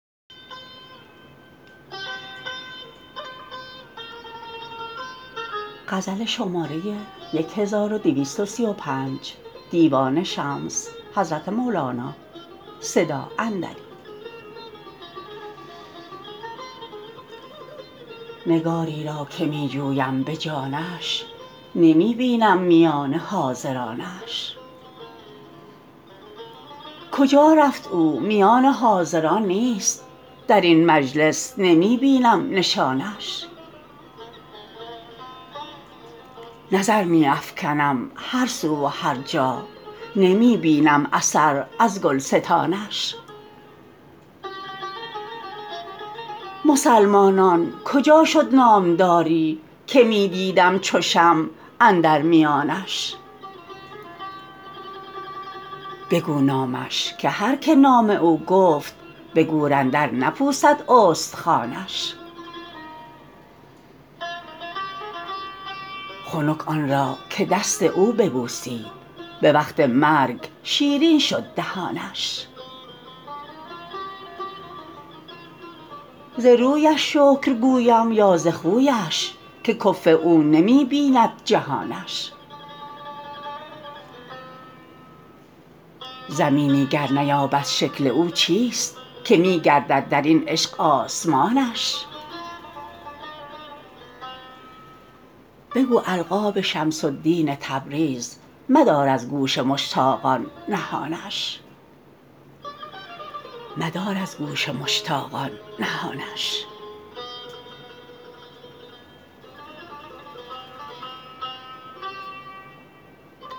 نگاری را که می جویم به جانش نمی بینم میان حاضرانش کجا رفت او میان حاضران نیست در این مجلس نمی بینم نشانش نظر می افکنم هر سو و هر جا نمی بینم اثر از گلستانش مسلمانان کجا شد نامداری که می دیدم چو شمع اندر میانش بگو نامش که هر کی نام او گفت به گور اندر نپوسد استخوانش خنک آن را که دست او ببوسید به وقت مرگ شیرین شد دهانش ز رویش شکر گویم یا ز خویش که کفو او نمی بیند جهانش زمینی گر نیابد شکل او چیست که می گردد در این عشق آسمانش بگو القاب شمس الدین تبریز مدار از گوش مشتاقان نهانش